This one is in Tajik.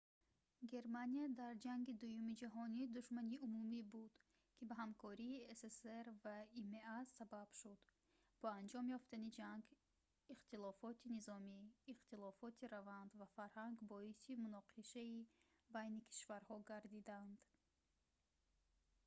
германия дар ҷанги дуюми ҷаҳонӣ душмани умумӣ буд ки ба ҳамкории ссср ва има сабаб шуд бо анҷом ёфтани ҷанг ихтилофоти низомӣ ихтилофоти раванд ва фарҳанг боиси муноқишаи байни кишварҳо гардиданд